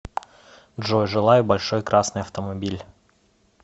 джой желаю большой красный автомобиль